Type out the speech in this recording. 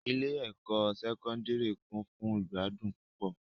Ile-ẹkọ Sẹkọndiri kun fun igbadun pupọ